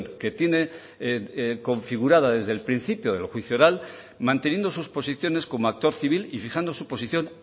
que tiene configurada desde el principio del juicio oral manteniendo sus posiciones como actor civil y fijando su posición